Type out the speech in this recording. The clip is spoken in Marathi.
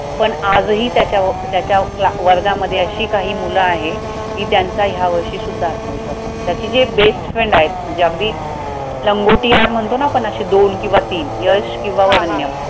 पण आजही त्याच्या अं त्याच्या वर्गामध्ये अशी काही मुलं आहे, की त्यांचा ह्या वर्षी सुद्धा आत्मविश्वास नव्हता त्याची जी एक bestfriends आहेत म्हणजे अगदी लंगोटी यार म्हणतो ना आपण अशी दोन किंवा तीन यश किंवा